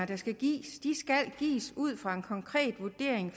der skal gives skal gives ud fra en konkret vurdering